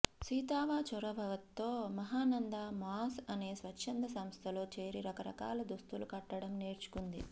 సీతావా చొరవతో మహానంద మాస్ అనే స్వచ్ఛంద సంస్థలో చేరి రకరకాల దుస్తులు కుట్టడం నేర్చుకుంది